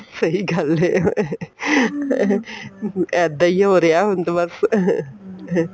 ਸਹੀਂ ਗੱਲ ਏ ਇੱਦਾਂ ਹੀ ਉਹ ਰਿਹਾ ਹੁਣ ਤੇ ਬੱਸ